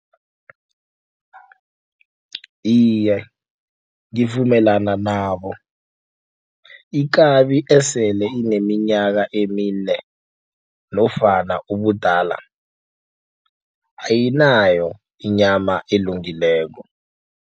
Iye, ngivumelana nabo ikabi esele ineminyaka emine nofana ubudala ayinayo inyama elungileko.